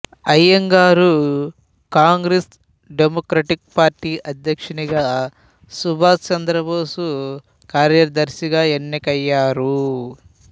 Iyengar Congress democratic party అధ్యక్షుడిగా సుభాస్ చంద్రబోసు కార్యదర్శిగా ఎన్నికయ్యారు